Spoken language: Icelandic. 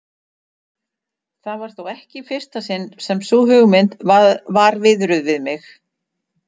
Það var þó ekki í fyrsta sinn sem sú hugmynd var viðruð við mig.